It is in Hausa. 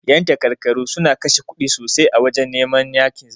Yan takarkaru suna kashe kuɗi sosai a wajan yakin neman zabe.